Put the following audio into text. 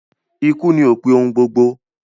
Ikú ni opin ohun gbogbo